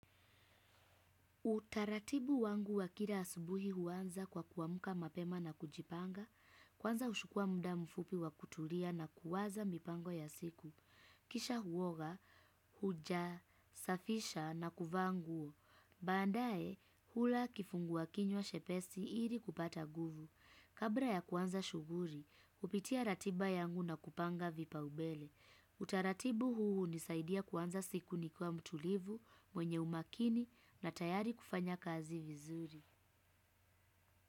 Utaratibu wangu wa kila asubuhi huanza kwa kuamuka mapema na kujipanga, kwanza hushukua muda mfupi wa kutulia na kuwaza mipango ya siku. Kisha huoga, huja, safisha na kuvaa nguo. Baadae hula kifunguakinywa chepesi ili kupata nguvu. Kabla ya kuanza shughuri, hupitia ratiba yangu na kupanga vipa umbele. Utaratibu huu hunisaidia kuanza siku nikwa mtulivu mwenye umakini na tayari kufanya kazi vizuri.